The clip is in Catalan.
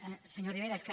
senyor rivera és que